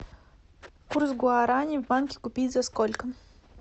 курс гуарани в банке купить за сколько